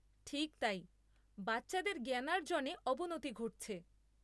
ঠিক তাই, বাচ্চাদের জ্ঞানার্জনে অবনতি ঘটছে।